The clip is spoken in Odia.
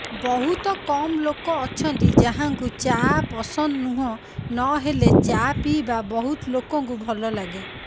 ବହୁତ କମ ଲୋକଅଛନ୍ତି ଯାହାଙ୍କୁ ଚା ପସନ୍ଦ ନୁହଁ ନହେଲେ ଚାପିଇବା ବହୁତ ଲୋକଙ୍କୁ ଭଲ ଲାଗେ